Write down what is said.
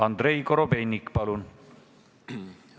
Andrei Korobeinik, palun!